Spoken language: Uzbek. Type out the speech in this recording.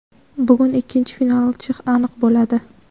bugun ikkinchi finalchi aniq bo‘ladi.